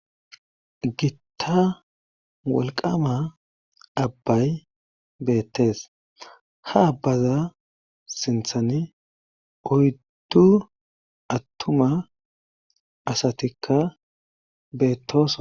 Gitta wolqama abbay beettees ha abbaza sinthani oyddu attuma asatikka beettosa